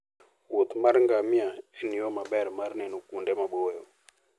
wuoth mar ngamia en yo maber mar neno kuonde maboyo.